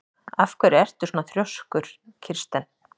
Af hverju ertu svona þrjóskur, Kirsten?